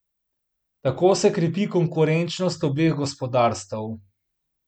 Tako se krepi konkurenčnost obeh gospodarstev.